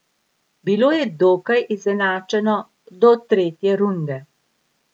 Bilo je dokaj izenačeno do tretje runde.